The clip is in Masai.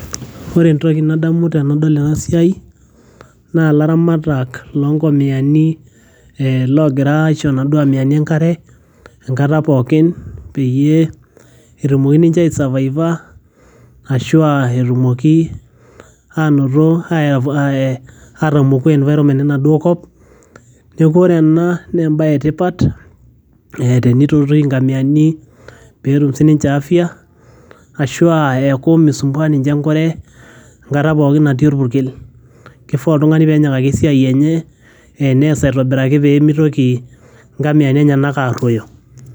ore entoki nadamu tenadol ena siai naa ilaramatak lonkomiyani logira aisho naduo amiyani enkare enkata pookin peyie etumoki ninche aesavaiva ashua etumoki anoto ae atamoku environment enaduo kop neeku ore ena naa embaye etipat tenitoti inkamiyani peetum sininche afya ashua eeku misumbua ninche enkure enkata pookin natii orpurkel kifaa oltung'ani penyikaki esiai enye eh nees aitobiraki pemitoki inkamiyani enyenak arruoyo.